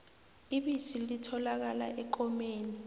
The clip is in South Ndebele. ibisi litholakala ekomeni